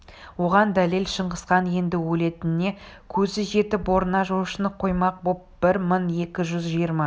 оған дәлел шыңғысхан енді өлетініне көзі жетіп орнына жошыны қоймақ боп бір мың екі жүз жиырма